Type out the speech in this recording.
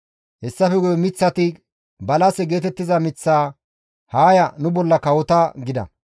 «Hessafe guye miththati balase geetettiza miththaa, ‹Haa ya, nu bolla kawota› gida.